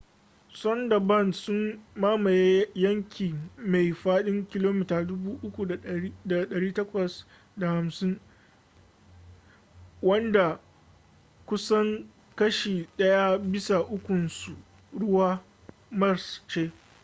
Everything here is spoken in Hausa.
sundarbans sun mamaye yanki mai faɗin 3,850 km² wanda kusan kashi ɗaya bisa ukunsa ruwa/ marsh ce